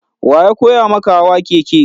Wa ya koya maka hawa keke?